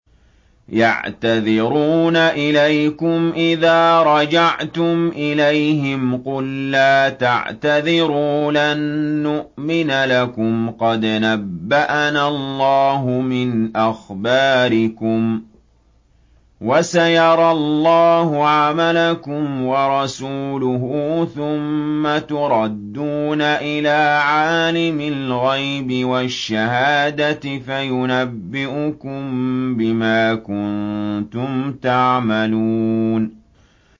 يَعْتَذِرُونَ إِلَيْكُمْ إِذَا رَجَعْتُمْ إِلَيْهِمْ ۚ قُل لَّا تَعْتَذِرُوا لَن نُّؤْمِنَ لَكُمْ قَدْ نَبَّأَنَا اللَّهُ مِنْ أَخْبَارِكُمْ ۚ وَسَيَرَى اللَّهُ عَمَلَكُمْ وَرَسُولُهُ ثُمَّ تُرَدُّونَ إِلَىٰ عَالِمِ الْغَيْبِ وَالشَّهَادَةِ فَيُنَبِّئُكُم بِمَا كُنتُمْ تَعْمَلُونَ